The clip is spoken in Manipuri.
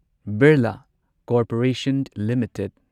Birla corporation limited